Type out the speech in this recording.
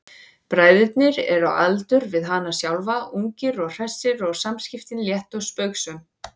Bræðurnir eru á aldur við hana sjálfa, ungir og hressir og samskiptin létt og spaugsöm.